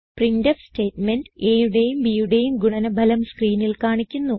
printf statement aയുടെയും bയുടെയും ഗുണന ഫലം സ്ക്രീനിൽ കാണിക്കുന്നു